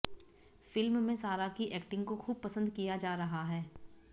film में सारा की acting को खूब पसंद किया जा रहा है